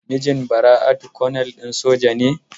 Mijin Bara'atu konel din soja ne?